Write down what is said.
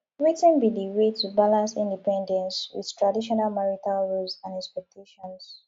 wetin be di way to balance independence with traditional marital roles and expectations